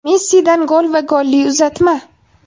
Messidan gol va golli uzatma.